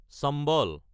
চম্বল